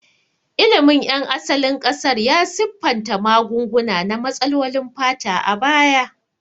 Ilimin ƴan asalin ƙasar ya siffanta magunguna na matsalolin fata a baya.